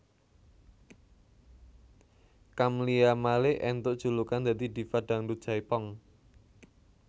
Camlia Malik entuk julukan dadi Diva Dangdut Jaipong